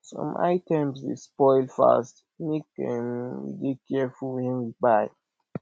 some items dey spoil fast make um we dey careful wen we buy